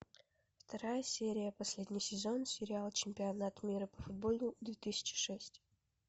вторая серия последний сезон сериала чемпионат мира по футболу две тысячи шесть